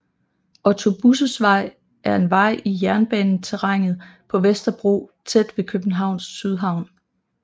Otto Busses Vej er en vej i jernbaneterrænet på Vesterbro tæt ved Københavns Sydhavn